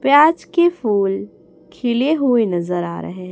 प्याज के फूल खिले हुए नजर आ रहे हैं।